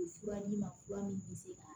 Fura ɲi ma fura min bɛ se ka